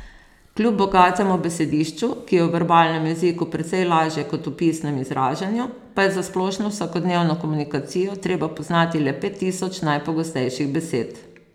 Kljub bogatemu besedišču, ki je v verbalnem jeziku precej lažje kot v pisnem izražanju, pa je za splošno vsakodnevno komunikacijo treba poznati le pet tisoč najpogostejših besed.